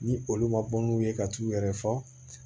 Ni olu ma bɔ n'u ye ka t'u yɛrɛ fɔ